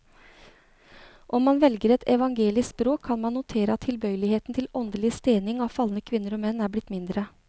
Om man velger et evangelisk språk, kan man notere at tilbøyeligheten til åndelig stening av falne kvinner og menn er blitt mindre.